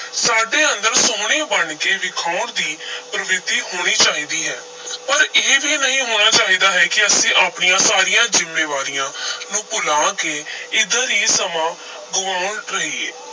ਸਾਡੇ ਅੰਦਰ ਸੁਹਣੇ ਬਣ ਕੇ ਵਿਖਾਉਣ ਦੀ ਪਰਵਿਰਤੀ ਹੋਣੀ ਚਾਹੀਦੀ ਹੈ ਪਰ ਇਹ ਵੀ ਨਹੀਂ ਹੋਣਾ ਚਾਹੀਦਾ ਹੈ ਕਿ ਅਸੀਂ ਆਪਣੀਆਂ ਸਾਰੀਆਂ ਜ਼ਿੰਮੇਵਾਰੀਆਂ ਨੂੰ ਭੁਲਾ ਕੇ ਇਧਰ ਹੀ ਸਮਾਂ ਗਵਾਉਣ ਰਹੀਏ।